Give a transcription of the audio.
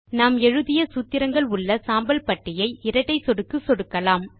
நாம் எழுதிய சூத்திரங்கள் உள்ள சாம்பல் பட்டியை இரட்டை சொடுக்கு சொடுக்கலாம்